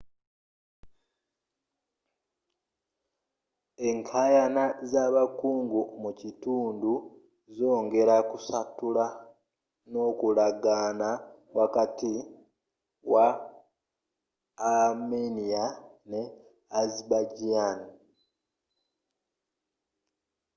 enkayana z'abakungu mukitundu zongera ku satulula nkolagana wakati wa armenia ne azerbaijan